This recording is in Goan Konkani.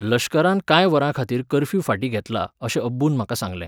लश्करान कांय वरांखातीर कर्फ्यू फाटीं घेतला अशें अब्बून म्हाका सांगलें.